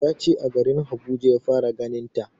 Ya ce a garin Abuja ya fara ganin ta